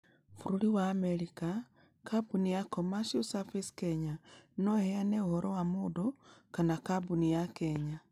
Bũrũri wa Amerika Kambuni ya Commercial Service Kenya no ĩheane ũhoro wa mũndũ kana kambuni ya Kenya.